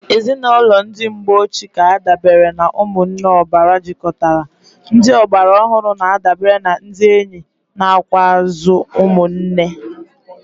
Ezinụlọ ndi mgbe ochi k'adabere na umunne obara jikotara, ndị ọgbara ọhụrụ na adabere na ndi enyi nakwuazi umu nne.